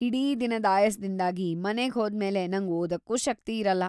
ಇಡೀ ದಿನದ್ ಆಯಾಸ್ದಿಂದಾಗಿ ಮನೆಗ್ ಹೋದ್ಮೇಲೆ ನಂಗ್ ಓದೋಕ್ಕೂ ಶಕ್ತಿ ಇರಲ್ಲ.